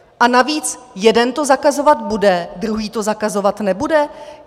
A navíc - jeden to zakazovat bude, druhý to zakazovat nebude?